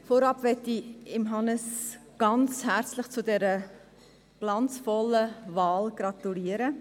Vorab möchte ich Hannes Zaugg ganz herzlich zu dessen glanzvollen Wahl gratulieren.